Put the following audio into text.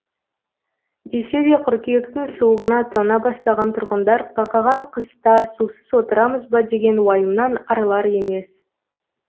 десе де қыркүйектің суығына тоңа бастаған тұрғындар қақаған қыста сусыз отырамыз ба деген уайымнан арылар емес